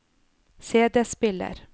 CD-spiller